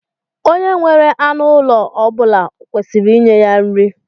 Onye nwere anụ ụlọ ọ bula kwesiri inye ya nri.